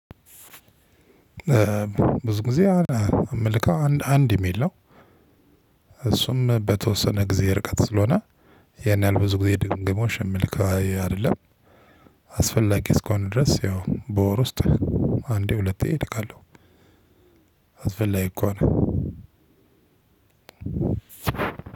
ብዙ ጊዜ አምልከው አንድ አንድ የሚል ነው። እሱም በተወሰነ ጊዜ ርቀት ስለሆነ ያን ያህል ብዙ ጊዜ ድንግሞሽ የምልከው አይደለም። አስፈላጊ እስሆነ ድረስ ያው በወር ውስጥ አንዴ ሁለቴ እልካለሁ። አስፈላጊ ከሆነ